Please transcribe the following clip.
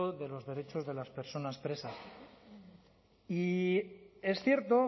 de los derechos de las personas presas y es cierto